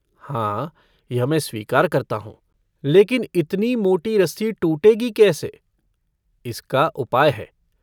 हाँ यह मैं स्वीकार करता हूँ लेकिन इतनी मोटी रस्सी टूटेगी कैसे इसका उपाय है।